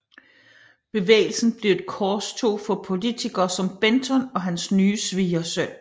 Bevægelsen blev et korstog for politikere som Benton og hans nye svigersøn